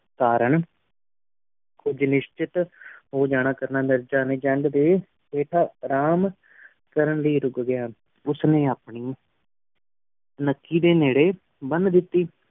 ਤਾਰਨ ਕੁਜ ਨਿਸ਼ਚਿਤ ਹੋ ਜਾਣਾ ਕਰਨਾ ਮਿਰਜ਼ਾ ਨੇ ਦੇ ਹੇਠਾ ਆਰਾਮ ਰਨ ਲੈ ਰੁਕ ਗਿਆ ਉਸ ਨੀ ਅਪਨੀ ਨਕੀ ਦੇ ਨੇਡ਼ੇ ਬਣ ਦੇਤੀ